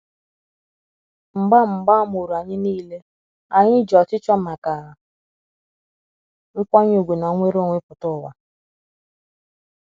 mgba mgba Amuru anyi nile, anyi ji ọchịchọ maka nkwanye ùgwù na nnwere onwe pụta ụwa.